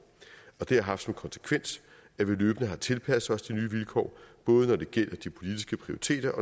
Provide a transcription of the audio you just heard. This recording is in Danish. og det har haft som konsekvens at vi løbende har tilpasset os de nye vilkår både når det gælder de politiske prioriteter